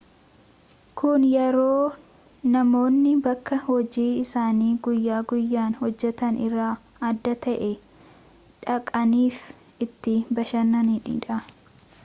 kun yeroo namoonni bakka hojii isaanii guyya guyyaan hojjetan irraa adda ta'e dhaqaniifi itti bashannanidha